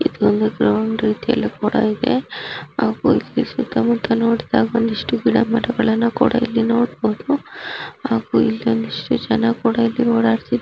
ಇದೊಂದು ಗ್ರೌಂಡ್ ರೀತಿಯಲ್ಲಿ ಕೂಡ ಇದೆ. ಹಾಗು ಇಲ್ಲಿ ಸುತ್ತಮುತ್ತ ನೋಡದಾಗ ಒಂದಿಷ್ಟು ಗಿಡಮರಗಳನ್ನು ಕೂಡ ಇಲ್ಲಿ ನೋಡಬಹುದು ಹಾಗು ಒಂದಿಷ್ಟು ಜನ ಕೂಡ ಇಲ್ಲಿ ಓಡಾಡುತ್ತಿದಾರೆ.